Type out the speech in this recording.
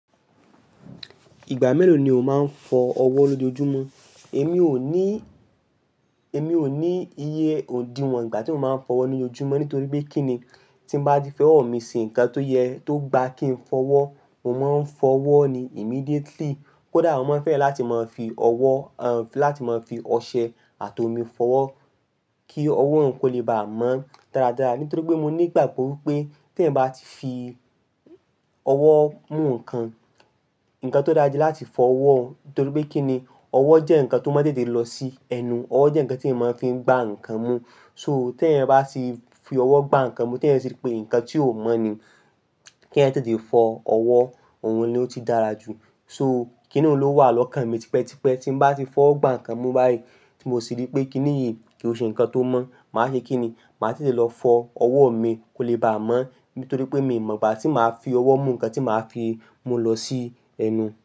Ìgbà mélòó ni o máa ń fọ ọwọ́ lójoojúmọ́? Èmi ò ní, èmi ò ní iye òdìwọ̀n ìgbà tí mo máa ń fọwọ́ ní oojúmọ́ nítorí pé kí ni tí n bá di fọwọ́ mi ṣe nǹkan tó yẹ tó gba kí n fọwọ́, mo máa ń fọwọ́ ni immediately. Kódà mo máa ń fẹ́ láti máa fi ọwọ́, à ń, láti máa fi ọṣẹ àti omi fọwọ́ kí ọwọ́ n ko lé bá mọ́ dáradára nítorí pé mo ní ìgbàgbọ́ wípé tí ẹ̀eyań bá ti fi ọwọ́ mú ǹkan, ǹkan tó dára ni láti fọ ọwọ́ nítorí pé kí ni, ọwọ́ jẹ́ ǹkan tó máa tètè lọ sí ẹnu, ọwọ́ jẹ́ ǹkan tí eeyan máa fi ń gbá ǹkan mú. So, tí eeyań bá ti fi ọwọ́ gbá ǹkan mú, tí eeyan sì rí pé ǹkan tí ò mọ́ ni, kí eeyan tètè fọ ọwọ́, òun ni ó ti dára jù. So, kí ni óun wà lọ́kàn mi tipẹ́tipẹ́ tí n bá ti fọwo gbá ǹkan mú báyìí tí mo sì rí pé kí ni yíi kìí ṣe ǹkan tó mọ́, màá ṣe kí ni? Màá tètè lọ fọ ọwọ́ mi kó lè bá mọ́ nítorí pé mi ò mọ̀ bá tí màá fi ọwọ́ mú ǹkan tí màá fi mú lọ sí ẹnu.